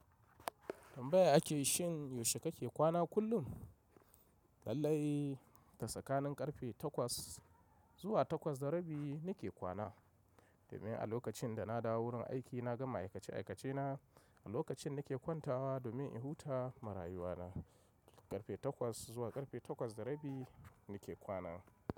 Tambaya ake shin yaushe kake kwana kullum? Lallai da tsakanin karfe takwas zuwa takwas da rabi nake kwana, domin a lokacin da na dawo wurin aiki na gama aikace aikace na, a lokacin nake kwantawa domin in huta ma rayuwa na karfe takwas zuwa karfe takwas da rabi nake kwana.